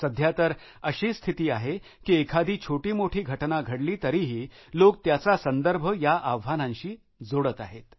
सध्या तर अशी स्थिती आहे कि एखादी छोटीमोठी घटना घडली तरीही लोक त्याचा संदर्भ या आव्हानांशी जोडतात